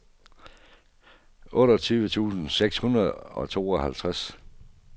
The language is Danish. otteogtyve tusind seks hundrede og tooghalvtreds